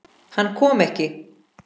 Hann kom ekki.